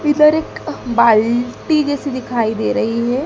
इधर एक बाल्टी जैसी दिखाई दे रही है।